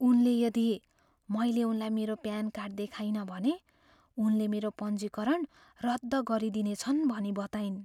उनले यदि मैले उनलाई मेरो प्यान कार्ड देखाइनँ भने उनले मेरो पञ्जीकरण रद्द गरिदिने छन् भनी बताइन्।